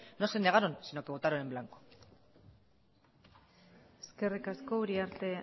no se negaron sino que votaron en blanco eskerrik asko uriarte